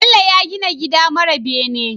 Bello ya gina gida mara bene